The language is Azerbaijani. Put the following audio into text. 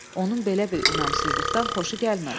Onun belə bir inamsızlıqdan xoşu gəlmədi.